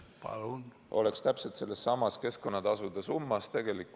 Palun!